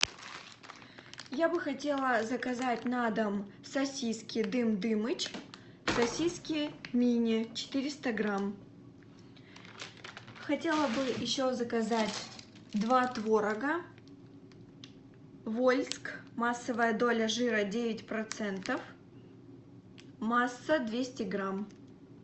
я бы хотела заказать на дом сосиски дым дымыч сосиски мини четыреста грамм хотела бы еще заказать два творога вольск массовая доля жира девять процентов масса двести грамм